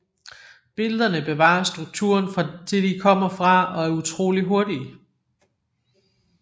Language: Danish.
Billederne bevarer strukturen fra det de kommer fra og er utroligt hurtige